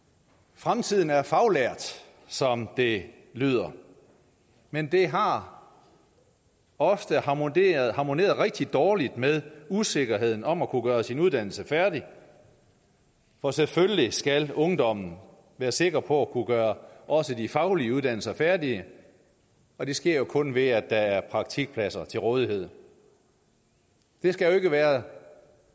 fremtiden er faglært som det lyder men det har ofte harmoneret harmoneret rigtig dårligt med usikkerheden om at kunne gøre sin uddannelse færdig for selvfølgelig skal ungdommen være sikker på at kunne gøre også de faglige uddannelser færdige og det sker jo kun ved at der er praktikpladser til rådighed det skal jo ikke være